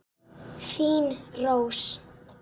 Þín Rós.